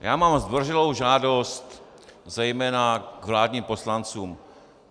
Já mám zdvořilou žádost, zejména k vládním poslancům.